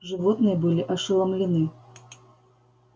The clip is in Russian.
животные были ошеломлены